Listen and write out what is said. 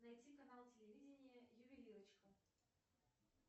найти канал телевидения ювелирочка